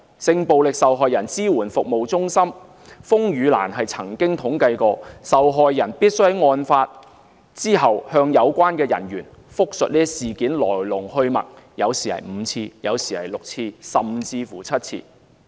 性暴力受害人支援服務中心風雨蘭曾經統計，受害人需在案發後向有關人員複述事件的來龍去脈，有時是5次，有時是6次，甚至是7次。